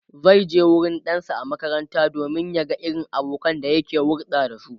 zaije wurin ɗansa a makaranta domin ya ga irin abokanan da yake hulɗa da su